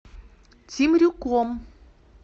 темрюком